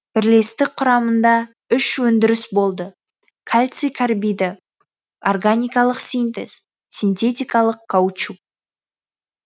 бірлестік құрамыңда үш өңдіріс болды кальций карбиді органикалық синтез синтетикалық каучук